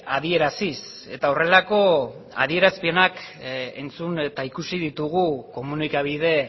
adieraziz eta horrelako adierazpenak entzun eta ikusi dugu komunikabide